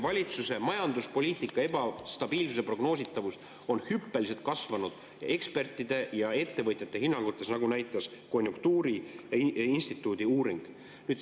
Valitsuse majanduspoliitika ebastabiilsus on hüppeliselt kasvanud ja prognoositavus vähenenud nii ekspertide kui ka ettevõtjate hinnangutes, nagu näitas konjunktuuriinstituudi uuring.